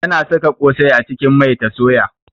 Tana saka kosai a cikin mai ta soya.